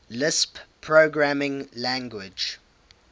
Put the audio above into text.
lisp programming language